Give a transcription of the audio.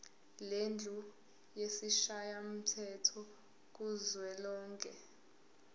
lendlu yesishayamthetho kuzwelonke